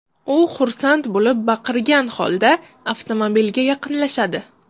U xursand bo‘lib baqirgan holda avtomobilga yaqinlashadi.